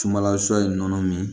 Sumanla sɔ ye nɔnɔ min